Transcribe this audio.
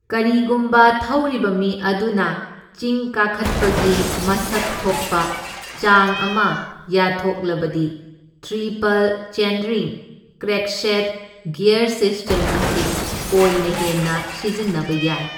ꯀꯔꯤꯒꯨꯝꯕ ꯊꯧꯔꯤꯕ ꯃꯤ ꯑꯗꯨꯅ ꯆꯤꯡ ꯀꯥꯈꯠꯄꯒꯤ ꯃꯁꯛ ꯊꯣꯛꯄ ꯆꯥꯡ ꯑꯃ ꯌꯥꯠꯊꯣꯛꯂꯕꯗꯤ triple chainring crankset gear system ꯑꯁꯤ ꯑꯣꯏꯅ ꯍꯦꯟꯅ ꯁꯤꯖꯤꯟꯅꯕ ꯌꯥꯏ꯫